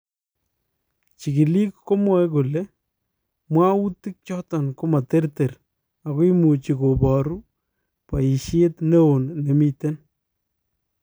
Chikiliik komwae kole mwawutik choton komaterter ako imuchi kobaruu boyisheet neon nemiten